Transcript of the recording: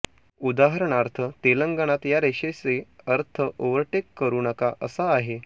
उदाहरणार्थ तेलंगणात या रेषेचे अर्थ ओव्हरटेक करू नका असा आहे